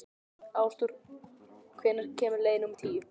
Ásdór, hvenær kemur leið númer tíu?